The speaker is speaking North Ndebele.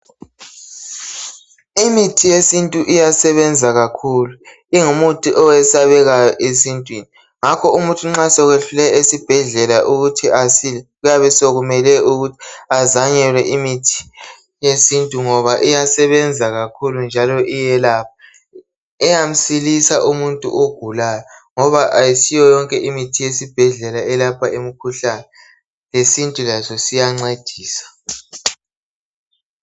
Imithi yesintu iyasebenza kakhulu, ingumuthi oyesabekayo esintwini, ngakho umuntu nxa sekwehlule esibhedlela ukuthi asile, kuyabe sekumele ukuthi azanyelwe imithi yesintu ngoba iyasebenza kakhulu njalo iyelapha. Iyamsilisa umuntu ogulayo, ngoba ayisiyo yonke imithi yesibhedlela eyelapha imkhuhlane, lesintu laso siyancedisa.